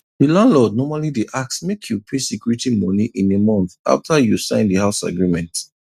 the landlord normally dey ask make you pay security moni in a month after you sign the house agreement